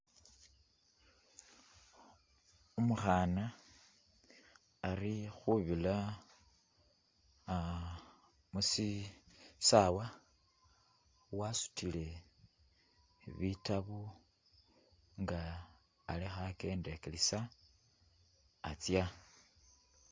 Umukhana, ali khubira mushisawa, wasutile bitabo nga alikho akyendakilisa atsya.